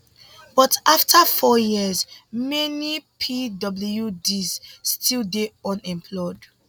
but afta four years many pwds still dey unemployed